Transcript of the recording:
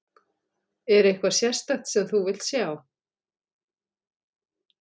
Er eitthvað sérstakt sem þú vilt sjá?